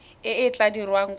e e tla dirwang kwa